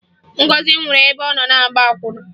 Ngọzị nwụrụ ebe ọ na-agba akwụna